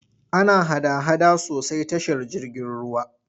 Ana hada-hada sosai tashar jirgin ruwa.